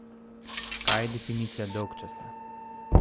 Kaj je definicija dolgčasa?